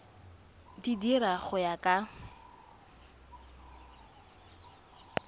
di dira go ya ka